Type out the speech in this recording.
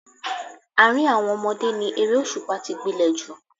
Àárín àwọn ọmọdé ni eré òṣùpá tí gbilẹ̀ jù